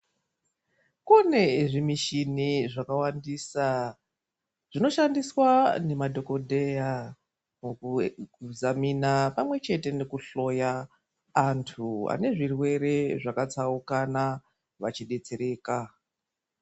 Kune zvimishini zvakawandisa, zvinoshandiswa nemadhokodheya, mukuzamina pamwe chete nekuihloya, antu ane zvirwere zvakatsaukana achidetsereka.